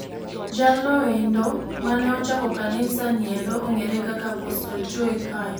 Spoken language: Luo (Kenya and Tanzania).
Jalnoendo mane ochako kanisa niendo ong'ere kaka Apostle Joe Kayo.